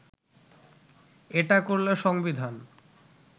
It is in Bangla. এটা করলে সংবিধান